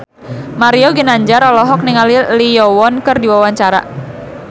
Mario Ginanjar olohok ningali Lee Yo Won keur diwawancara